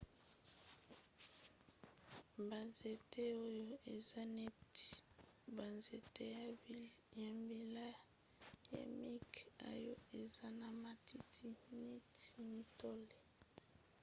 banzete oyo eza neti banzete ya mbila ya mike oyo eza na matiti neti mitole